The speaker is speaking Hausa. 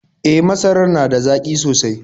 E, masarar da zaƙi sosai.